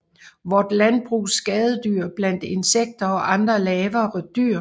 Vort Landbrugs Skadedyr blandt Insekter og andre lavere Dyr